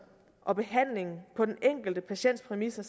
og behandlingen på den enkelte patients præmisser